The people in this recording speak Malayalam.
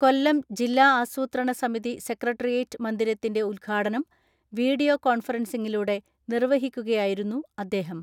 കൊല്ലം ജില്ലാ ആസൂത്രണ സമിതി സെക്രട്ടേറിയറ്റ് മന്ദിരത്തിന്റെ ഉദ്ഘാടനം വീഡിയോ കോൺഫറൻസിംഗിലൂടെ നിർവഹിക്കുകയായിരുന്നു അദ്ദേഹം.